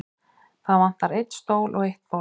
Það vantar einn stól og eitt borð.